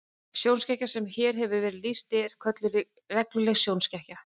Sjónskekkja sem hér hefur verið lýst er kölluð regluleg sjónskekkja.